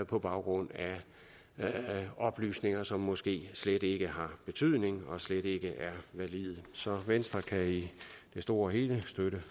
på baggrund af oplysninger som måske slet ikke har betydning og slet ikke er valide så venstre kan i det store og hele støtte